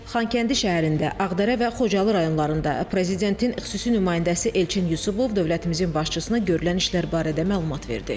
Xankəndi şəhərində, Ağdərə və Xocalı rayonlarında prezidentin xüsusi nümayəndəsi Elçin Yusubov dövlətimizin başçısına görülən işlər barədə məlumat verdi.